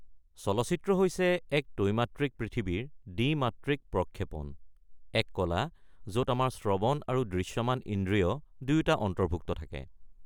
চলচ্চিত্ৰ হৈছে এক ত্ৰৈমাত্ৰিক পৃথিৱীৰ দ্বি-মাত্ৰিক প্ৰক্ষেপণ, এক কলা য'ত আমাৰ শ্ৰৱণ আৰু দৃশ্যমান ইন্দ্ৰিয় দুয়োটা অন্তৰ্ভুক্ত থাকে।